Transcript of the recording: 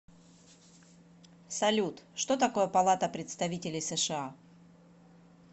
салют что такое палата представителей сша